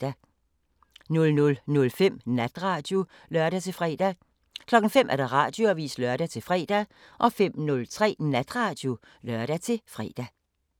00:05: Natradio (lør-fre) 05:00: Radioavisen (lør-fre) 05:03: Natradio (lør-fre)